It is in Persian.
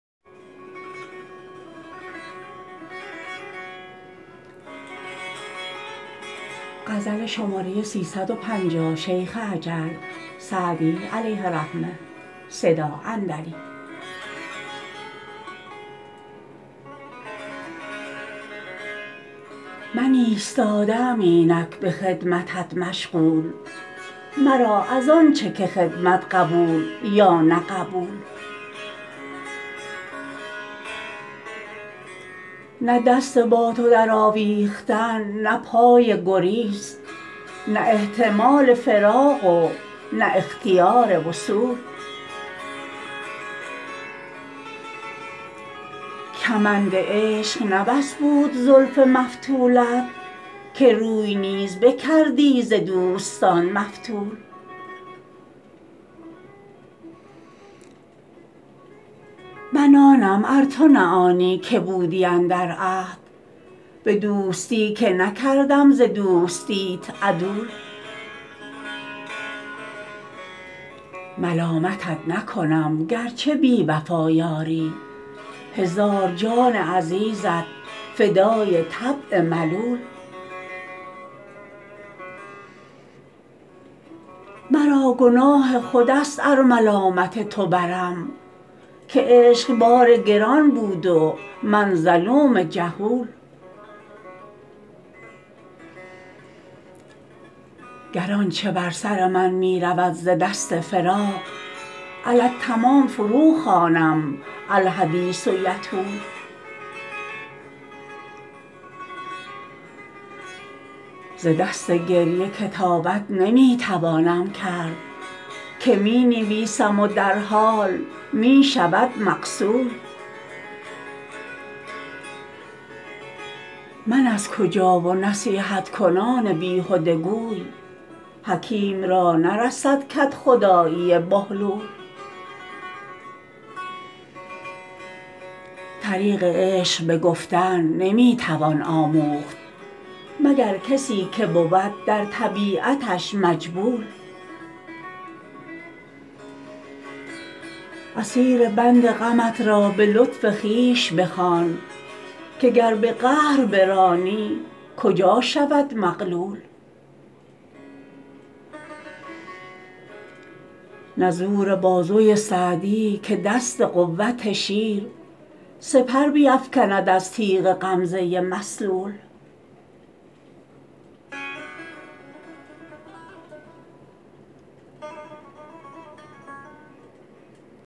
من ایستاده ام اینک به خدمتت مشغول مرا از آن چه که خدمت قبول یا نه قبول نه دست با تو درآویختن نه پای گریز نه احتمال فراق و نه اختیار وصول کمند عشق نه بس بود زلف مفتولت که روی نیز بکردی ز دوستان مفتول من آنم ار تو نه آنی که بودی اندر عهد به دوستی که نکردم ز دوستیت عدول ملامتت نکنم گر چه بی وفا یاری هزار جان عزیزت فدای طبع ملول مرا گناه خود است ار ملامت تو برم که عشق بار گران بود و من ظلوم جهول گر آن چه بر سر من می رود ز دست فراق علی التمام فروخوانم الحدیث یطول ز دست گریه کتابت نمی توانم کرد که می نویسم و در حال می شود مغسول من از کجا و نصیحت کنان بیهده گوی حکیم را نرسد کدخدایی بهلول طریق عشق به گفتن نمی توان آموخت مگر کسی که بود در طبیعتش مجبول اسیر بند غمت را به لطف خویش بخوان که گر به قهر برانی کجا شود مغلول نه زور بازوی سعدی که دست قوت شیر سپر بیفکند از تیغ غمزه مسلول